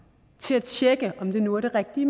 til at tjekke om det nu er det rigtige